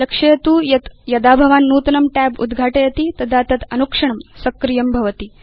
लक्षयतु यत् यदा भवान् नूतनं tab उद्घाटयति तदा तत् अनुक्षणं सक्रियं भवति